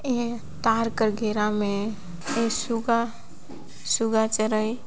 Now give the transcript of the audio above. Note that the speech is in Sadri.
ऐ तार के घेरा में एक शुगा शुगा चरई-